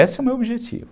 Esse é o meu objetivo.